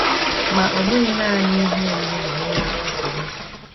Ma ọ bụghị nanị ihe oriri nọ n’ihe ize ndụ.